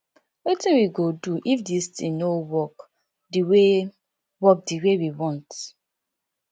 wetin we go do if dis thing no work the way work the way we want